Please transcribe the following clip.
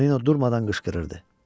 Tonino durmadan qışqırırdı.